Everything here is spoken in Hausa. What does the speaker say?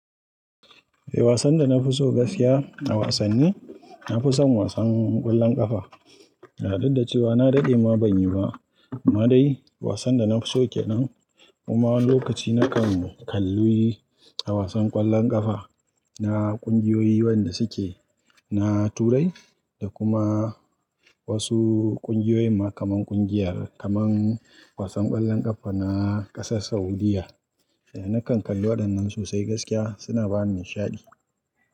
Eh wasan da na fi so gaskiya a wasanni, na fi son wasan ƙwallon ƙafa. Didda cewa na daɗe ma ban yi ba, amma dai wasan da na fi so ke nan. Kuma wan lokaci na kan kalli wasan ƙwallon ƙafa na ƙungiyoyi wayan da suke, na Turai da kuma wasu ƙungiyoyi ma kamar ƙungiyar, kamar wasan ƙwallon ƙafa na ƙasar Saudiyya. Na kan kalli waɗannan gskiya suna bani nishaɗi.